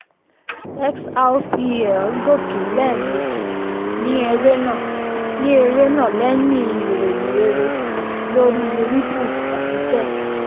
xrp gòkè lẹ́ẹ̀mejì ní ẹrẹ́nà ní ẹrẹ́nà lẹ́yìn ìròyìn rere lórí ripple àti sec.